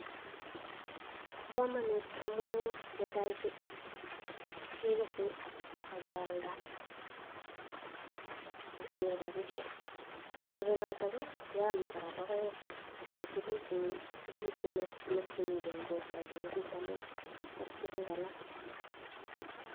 Bo kamanut amu netai kekese akealda kenyor rapisiek ko nerube keome kou logoek che toreti biik en borto en ng'alekab vitamins.